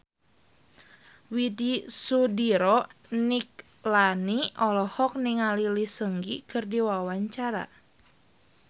Widy Soediro Nichlany olohok ningali Lee Seung Gi keur diwawancara